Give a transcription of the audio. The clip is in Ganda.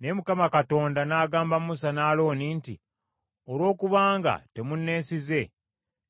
Naye Mukama Katonda n’agamba Musa ne Alooni nti, “Olwokubanga temunneesize,